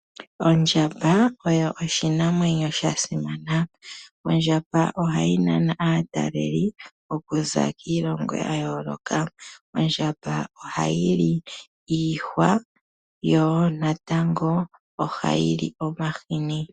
Ondjamba oyo oshinamwenyo shasimana. Ondjamba ohayi nana aataleli okuza kiilongo oya yoloka .Ondjamba ohayi li iihwa yo ohayi li woo omahini.